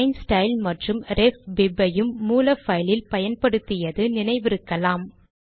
plain style மற்றும் ref bib ஐயும் மூல பைலில் பயன்படுத்தியது நினைவிருக்கலாம்